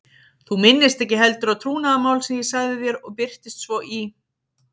Þú minnist ekki heldur á trúnaðarmál sem ég sagði þér og birtist svo í